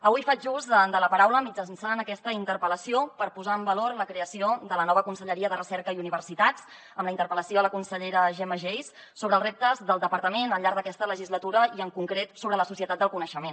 avui faig ús de la paraula mitjançant aquesta interpel·lació per posar en valor la creació de la nova conselleria de recerca i universitats amb la interpel·lació a la consellera gemma geis sobre els reptes del departament al llarg d’aquesta legislatura i en concret sobre la societat del coneixement